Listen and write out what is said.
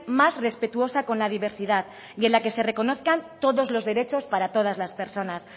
más respetuosa con la diversidad y en la que se reconozcan todos los derechos para todas las personas